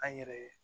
An yɛrɛ